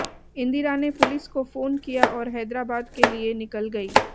इंदिरा ने पुलिस को फोन किया और हैदराबाद के लिए निकल गईं